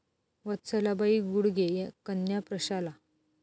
वत्सलाबाई गुडगे कन्या प्रशाला